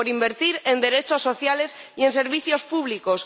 Por invertir en derechos sociales y en servicios públicos.